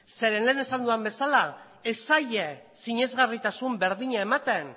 zeren lehen esan dudan bezala ez zaie sinesgarritasun berdina ematen